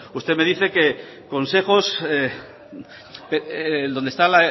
usted me dice dónde están